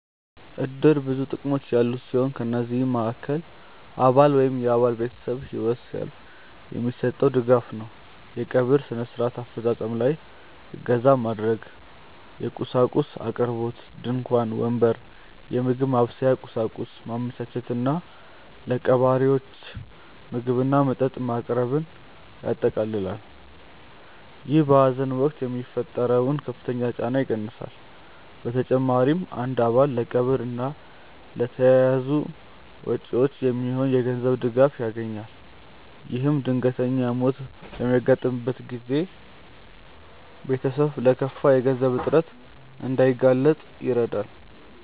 እድር ብዙ ጥቅሞች ያሉት ሲሆን ከነዚህም መሃከል አባል ወይም የአባል ቤተሰብ ህይወት ሲያልፍ የሚሰጠው ድጋፍ ነው። የቀብር ስነ-ስርዓት አፈፃፀም ላይ እገዛ ማድረግ፣ የቁሳቁስ አቅርቦት (ድንኳን፣ ወንበር፣ የምግብ ማብሰያ ቁሳቁስ) ማመቻቸት እና ለቀባሪዎች ምግብና መጠጥ ማቅረብን ያጠቃልላል። ይህ በሀዘን ወቅት የሚፈጠረውን ከፍተኛ ጫና ይቀንሳል። በተጨማሪም አንድ አባል ለቀብር እና ለተያያዙ ወጪዎች የሚሆን የገንዘብ ድጋፍ ያገኛል። ይህም ድንገተኛ ሞት በሚያጋጥምበት ጊዜ ቤተሰብ ለከፋ የገንዘብ እጥረት እንዳይጋለጥ ይረዳል።